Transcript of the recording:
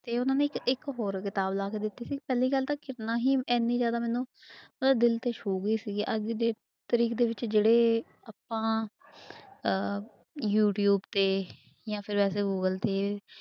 ਤੇ ਉਹਨਾਂ ਨੇ ਇੱਕ ਹੋਰ ਕਿਤਾਬ ਲਿਆ ਕੇ ਦਿੱਤੀ ਸੀ ਪਹਿਲੀ ਗੱਲ ਤਾਂ ਕਿਰਨਾਂ ਹੀ ਇੰਨੀ ਜ਼ਿਆਦਾ ਮੈਨੂੰ ਮਤਲਬ ਦਿਲ ਤੇ ਛੂਹ ਗਈ ਸੀਗੀ ਅੱਜ ਦੇ ਡੇ ਤਰੀਕ ਦੇ ਵਿੱਚ ਜਿਹੜੇ ਆਪਾਂ ਅਹ ਯੂਟਿਊਬ ਤੇ ਜਾਂ ਫਿਰ ਵੈਸੇ ਗੂਗਲ ਤੇ